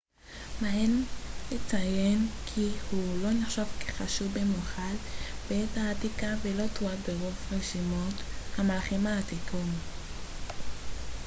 מעניין לציין כי הוא לא נחשב כחשוב במיוחד בעת העתיקה ולא תועד ברוב רשימות המלכים העתיקות